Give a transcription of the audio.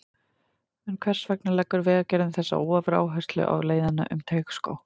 En hvers vegna leggur Vegagerðin þessa ofuráherslu á leiðina um Teigsskóg?